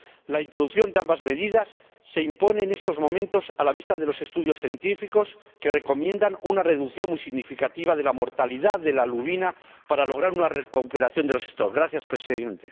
la introducción de ambas medidas se impone en estos momentos a la vista de los estudios científicos que recomiendan una reducción muy significativa de la mortalidad de la lubina para lograr una recuperación de las poblaciones.